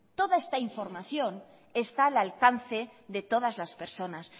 toda esta información está al alcance de todas las personas